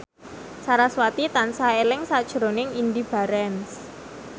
sarasvati tansah eling sakjroning Indy Barens